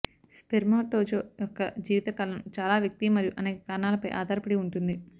spermatozoa యొక్క జీవిత కాలం చాలా వ్యక్తి మరియు అనేక కారణాలపై ఆధారపడి ఉంటుంది